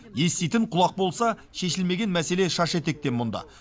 еститін құлақ болса шешілмеген мәселе шаш етектен мұнда